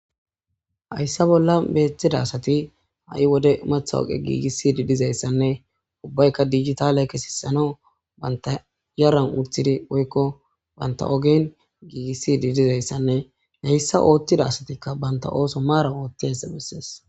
Hayssa bolla beeththida asati ha'i wode umetha oqe giigissi di dizayssanne ubbaykka dijita le kesisano banta yaran utthidi woykko banta ogen giigissidi dizayssanne heyssa oothtida asatikka banta ooso maaran oottiessa bessees